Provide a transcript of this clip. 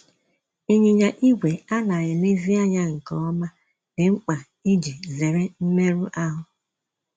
Ịnyịnya ígwè a na - elezi anya nke ọma dị mkpa iji zere mmerụ ahụ́.